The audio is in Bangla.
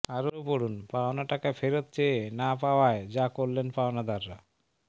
আরও পড়ুন পাওনা টাকা ফেরত চেয়ে না পাওয়ায় যা করলেন পাওনাদাররা